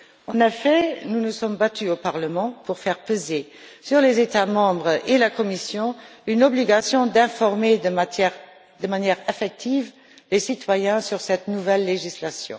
En effet, nous nous sommes battus au Parlement pour faire peser sur les États membres et la Commission une obligation d'informer de manière effective les citoyens sur cette nouvelle législation.